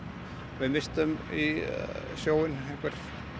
við misstum í sjóinn einhver